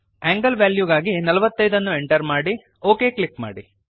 angle ವೆಲ್ಯೂಗಾಗಿ 45 ಅನ್ನು enter ಮಾಡಿ ಒಕ್ ಕ್ಲಿಕ್ ಮಾಡಿ